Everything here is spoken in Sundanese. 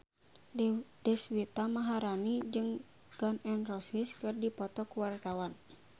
Deswita Maharani jeung Gun N Roses keur dipoto ku wartawan